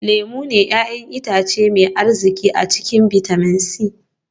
Lemun ne 'ya'yan itace mai arziki a cikin bitamin c